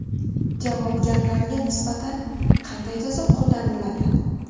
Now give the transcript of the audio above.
Javobgarlarga nisbatan qanday jazo qo‘llaniladi?.